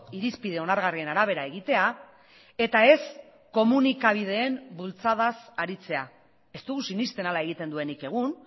irizpide onargarrien arabera egitea eta ez komunikabideen bultzadaz aritzea ez dugu sinesten hala egiten duenik egun